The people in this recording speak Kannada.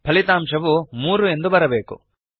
ಫಲಿತಾಂಶವು ಮೂರು ಎಂದು ಬರಬೇಕು